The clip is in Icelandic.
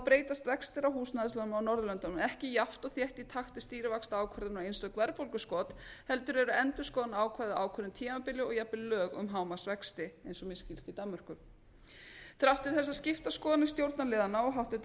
breytast vextir á húsnæðislánum á norðurlöndunum ekki jafnt og þétt í takt við stýrivaxtaákvarðanir og eintök verðbólguskot heldur eru endurskoðunarákvæði á ákveðnu tímabili og lög um hámarksvexti eins og mér skilst í danmörku þrátt fyrir þessar skiptu skoðanir stjórnarliðanna og